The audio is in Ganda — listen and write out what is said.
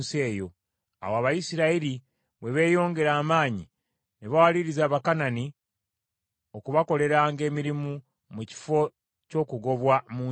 Awo Abayisirayiri bwe beeyongera amaanyi ne bawaliriza Abakanani okubakoleranga emirimu mu kifo ky’okugobwa mu nsi eyo.